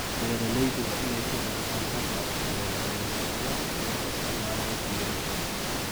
Beeraleydu waa inay ku bartaan hababka cusub ee beerashada iyagoo isticmaalaya diiwaan.